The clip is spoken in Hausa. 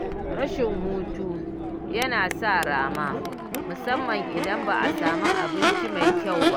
Rashin hutu yana sa rama musamman idan ba a samun abinci mai kyau